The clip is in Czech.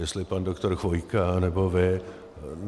Jestli pan doktor Chvojka, nebo vy.